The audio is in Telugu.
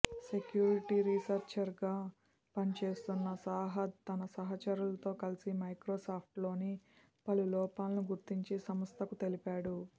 సెక్యూరిటీ రీసెర్చర్గా పనిచేస్తున్న సాహద్ తన సహచరులతో కలిసి మైక్రోసాఫ్ట్లోని పలు లోపాలను గుర్తించి సంస్థకు తెలిపాడు